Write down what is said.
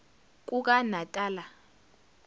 kukanatala